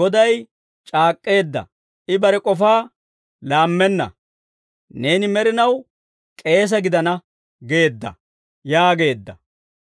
«Goday c'aak'k'eedda; I bare k'ofaa laammenna. ‹Neeni med'inaw k'eesa gidana› geedda» yaageedda.